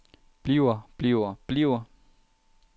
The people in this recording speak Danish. bliver bliver bliver